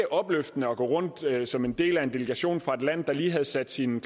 opløftende at gå rundt som en del af en delegation fra et land der lige havde sat sin